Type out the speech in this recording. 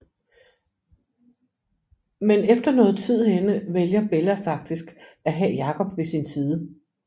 Men efter noget tid henne vælger Bella faktisk at have Jacob ved sin side